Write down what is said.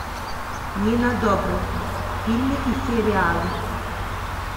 нина добрев фильмы и сериалы